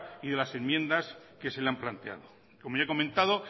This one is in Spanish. y de las enmiendas que se le han planteado como ya he comentado